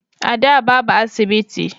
A da babu asibiti